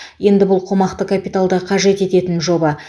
енді бұл қомақты капиталды қажет ететін жоба